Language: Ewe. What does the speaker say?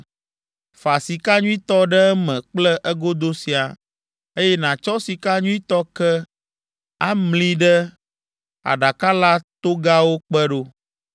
Fa sika nyuitɔ ɖe eme kple egodo siaa, eye nàtsɔ sika nyuitɔ ke amli ɖe aɖaka la togawo kpe ɖo.